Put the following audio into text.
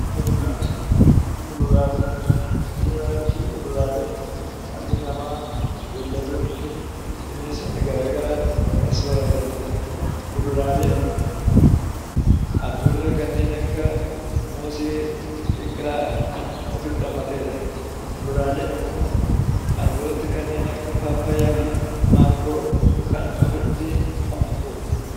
Kuduraalee fi muduraaleen dhalli namaa beeyladdoonnii fi bineensotni garaa garaa kan soorataniidha. Kuduraaleen albuudota kanneen akka moosee biqilaa kan ofitti hammateedha. Muduraaleen immoo albuudota kanneen akka paappayyaa fi maangoo kan ofitti hammateedha.